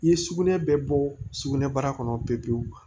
I ye sugunɛ bɛɛ bɔ sugunɛbara kɔnɔ pewu pewu